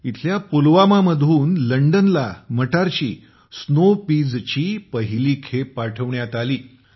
येथील पुलवामाहून लंडनला मटारची स्नोपीजची पहिली खेप पाठवण्यात आली